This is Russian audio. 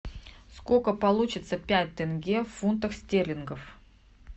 сколько получится пять тенге в фунтах стерлингов